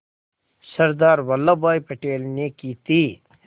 सरदार वल्लभ भाई पटेल ने की थी